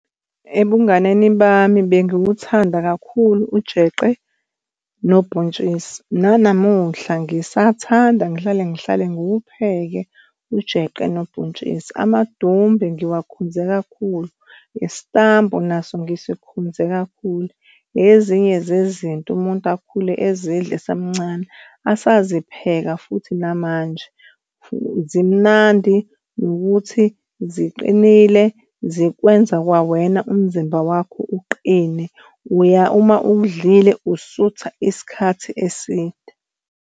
Ebunganeni bami bengiwuthanda kakhulu ujeqe nobhontshisi. Nanamuhla ngisathanda, ngihlale ngihlale ngiwupheke ujeqe nobhontshisi. Amadumbe ngiwakhonze kakhulu. Isitambu naso ngisikhonze kakhulu. Ezinye zezinto umuntu akhule ezidla esamncane, asazipheka futhi namanje zimnandi nokuthi ziqinile zikwenza kwawena umzimba wakho uqine, uma udlile usutha isikhathi eside.